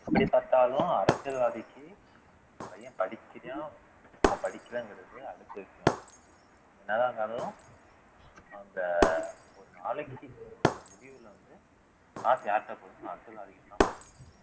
எப்படி பாத்தாலும் அரசியல்வாதிக்கு பையன் படிக்கிறான் அவன் படிக்கலைங்கிறது அடுத்த விஷயம் என்னதான் இருந்தாலும் அந்த ஒரு நாளைக்கு வந்து காசு யார்கிட்ட போகும் அரசியல்வாதி போகும்